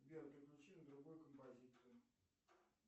сбер переключи на другую композицию